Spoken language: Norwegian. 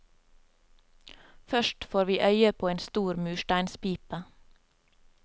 Først får vi øye på en stor mursteinspipe.